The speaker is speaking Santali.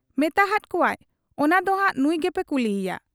ᱢᱮᱛᱟᱦᱟᱫ ᱠᱚᱣᱟᱭ ᱚᱱᱟ ᱫᱚᱱᱷᱟᱜ ᱱᱩᱸᱭ ᱜᱮᱵᱚ ᱠᱩᱞᱤᱭᱮᱭᱟ ᱾